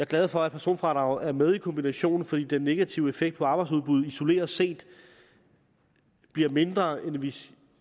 glad for at personfradraget er med i kombinationen for den negative effekt på arbejdsudbuddet isoleret set bliver mindre end hvis